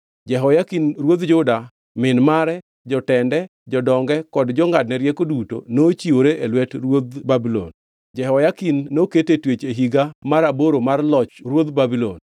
Jehoyakin ruodh Juda, min mare, jotende jodonge kod jongʼadne rieko duto nochiwore e lwet ruodh Babulon. Jehoyakin noket e twech e higa mar aboro mar Loch ruodh Babulon.